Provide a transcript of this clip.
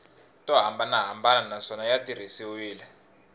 to hambanahambana naswona ya tirhisiwile